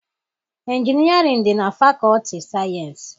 Injinịarịn dị na fakọọtị sayịensị.